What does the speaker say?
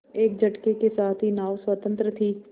एक झटके के साथ ही नाव स्वतंत्र थी